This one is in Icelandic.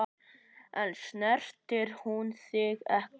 En snertir hún þig ekki?